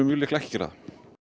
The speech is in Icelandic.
mjög líklega ekki gera það